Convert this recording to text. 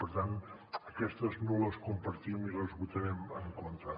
per tant aquestes no les compartim i les votarem en contra